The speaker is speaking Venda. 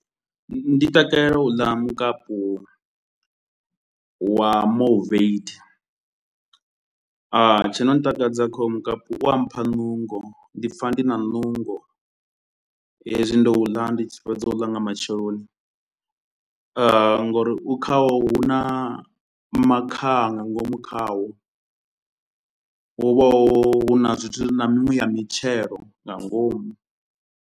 Ndi takalela u ḽa mukapu wa moveitha, tshi no ntakadza kha hoyu mukapu u a mpha nungo. Ndi pfa ndi na nungo hezwi ndo u ḽa, ndi tshi fhedza u ḽa nga matsheloni ngori u khaho hu na makhaha nga ngomu khawo, hu vha hu na zwithu na miṅwe ya mitshelo nga ngomu.